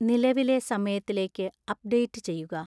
നിലവിലെ സമയത്തിലേക്ക് അപ്ഡേറ്റ് ചെയ്യുക